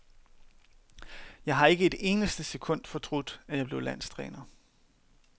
Jeg har ikke et eneste sekund fortrudt, at jeg blev landstræner.